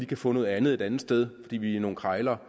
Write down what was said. kan få noget andet et andet sted fordi vi er nogle krejlere